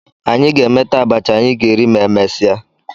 Anyị ga-emeta abacha anyị ga-eri ma emesịa